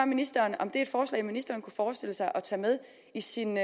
ministeren om det er et forslag ministeren kunne forestille sig at tage med i sin